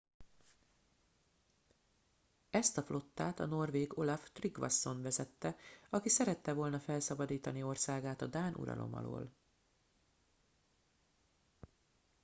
ezt a flottát a norvég olaf trygvasson vezette aki szerette volna felszabadítani országát a dán uralom alól